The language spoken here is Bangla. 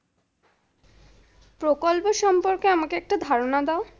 প্রকল্প সম্পর্কে আমাকে একটা ধারণা দাও।